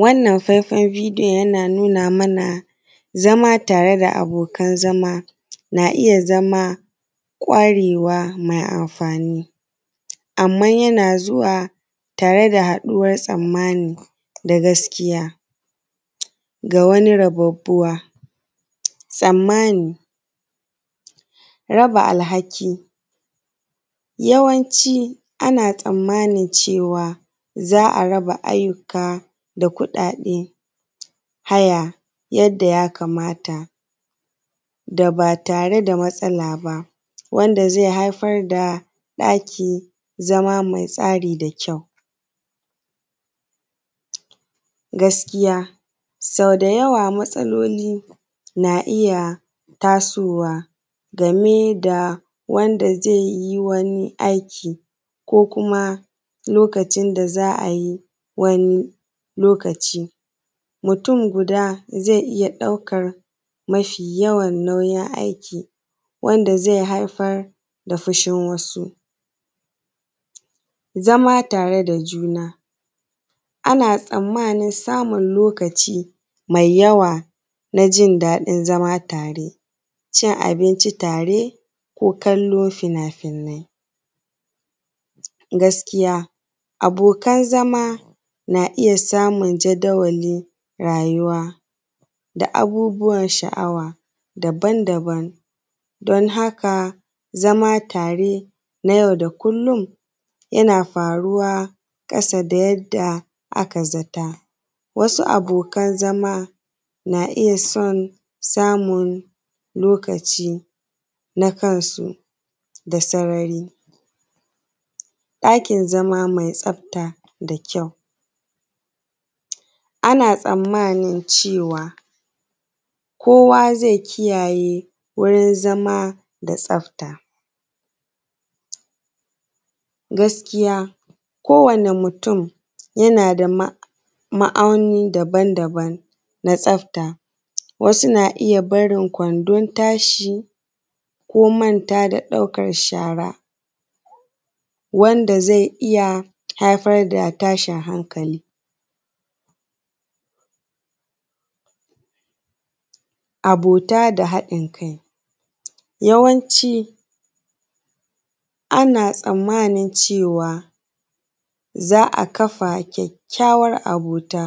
Wannan faifan bidiyon yana nuna mana zama tare da abokan zama na iya zama ƙwarwwa mai amfani. Amma yana zuwa tare da haɗuwan tsammani da gaskiya ga wani rababbuwa, tsammani, raba alhaki, yawanci ana tsammanin cewa za a raba ayyuka da kuɗaɗe haya yanda ya kamata da ba tare da matsala ba, wanda zai haifar da ɗaki zama mai tsari da kyau. Gaskiya sau da yawa matsalolin na iya tasowa game da wanda zai yi wani aiki ko kuma lokacin da za a yi wani lokaci, mutum guda zai iya ɗaukan mafi yawan nauyin aiki wanda zai haifar da fushin wasu. Zama tare da juna, ana tsanmanin samun lokacin mai yawa na jindaɗin zama tare, cin abinci tare, ko kallan finafinai. Gaskiya abokan zama na iya samun jadawalin rayuwa da abubuwan sha'awa daban daban don haka zama tare na yau da kullum yana faruwa ƙasa da yadda aka zata. Wasu abokan zama na iya son samun lokacin na kansu da sarari. Ɗakin zama mai tsafta da kyau ana tsanmani cewa kowa zai kiyaye wurin zama da tsafta. Gaskiya ko wane mutum yana da ma'aunin daban daban na tsafta. Wasu na iya barin kwandon tashi ko manta da ɗaukan shara wanda zai iya haifar da tashin hankali. Abota da haɗin kai. Yawanci ana tsanmani cewa za a kafa kyakyawan abota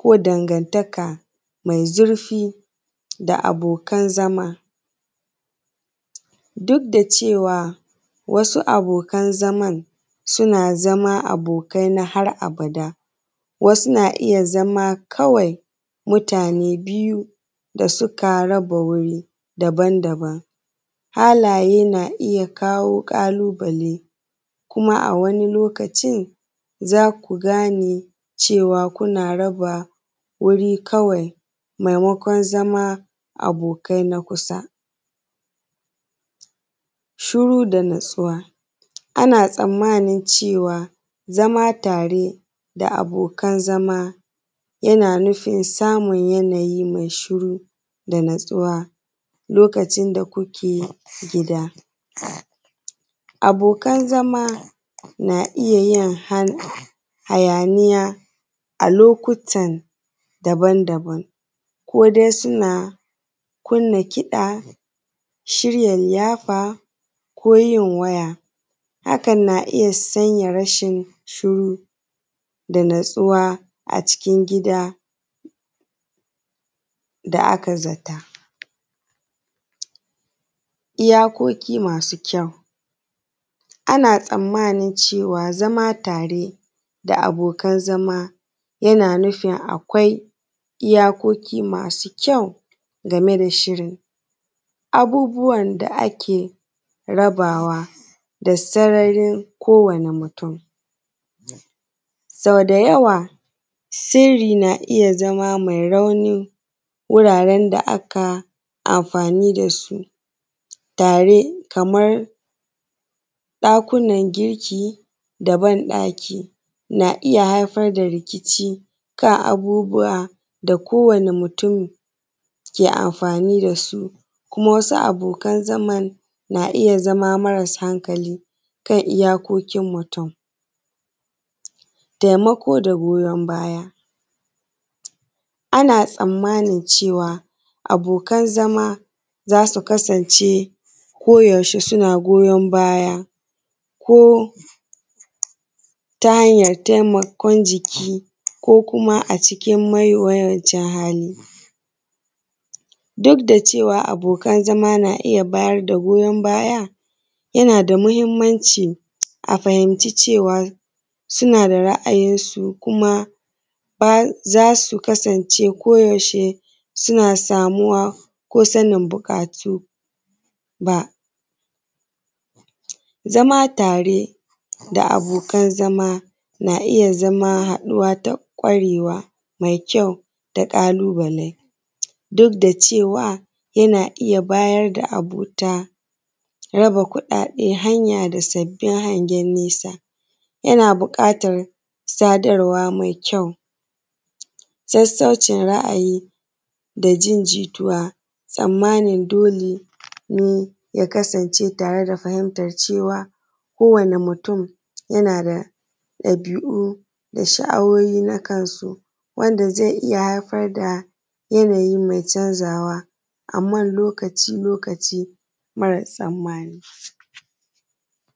ko dangantaka mai zurfi da abokan zama duk da cewa wasu abokan zaman suna zama abokai na har abada, wasu na iya zama kawai mutane biyu da suka raba wuri daban daban, halaye na iya kawo ƙalubale kuma a wani lokacin za ku gane cewa kuna raba guri kawai maimakon zama abokai na kusa. Shiru da natsuwa. Ana tsanmani cewa zama tare da abokan zama yana nufin samun yanayi mai shiru da natsuwa lokacin da kuke gida. Abokan zama na iya yin hayaniya a lokutan daban daban ko dai suna kunna kiɗa shirya liyafa, ko yin waya. Hakan na iya sanya rashin shiru da natsuwa a cikin gida da aka za ta. Iyakoki masu kyau. Ana tsanmani cewa zama tare da abokan zama yana nufi akwai iyakoki masu kyau game da shirin. Abubuwan da ake rabawa da sararin ko wane mutun. so da yawa sirri na iya zama mai raunin wuraran da aka amfani da su tare kamar ɗakunan girki, da ban ɗaki na iya haifar da rikici kan abubuwa da ko wane mutun ke amfani da su kuma wasu abokan zaman na iya zama marasu hankali kan iyakokin mutu. Taimako da goyan baya. Ana tsanmani cewa abokan zama za su kasance ko yaushe suna goyan baya ko ta hanyan taimakon jiki, ko kuma a cikin mawiyacin hali. Duk da cewa abokan zama na iya bayar da goyan baya yana da muhinmanci a fahimci cewa suna da ra'ayinsu kuma ba za su kasance ko yaushe suna samuwa ko sanin buƙatu ba. zama tare da abokan zama na iya zama haɗuwa ta ƙwarewa mai kyau da ƙalubale duk da cewa yana iya bayar da abota, raba kuɗaɗe hanya da sabbin hangen nesa, yana buƙatan sadarwa mai kyau, sasaucin ra'ayi da jin jituwa, tsanmanin dole ya kasance tare da fahintar cewa ko wane mutun yana da ɗabi'u da sha'awowi na kansu wanda zai iya haifar da yanayi mai canzawa amma lokaci lokaci mara tsammani.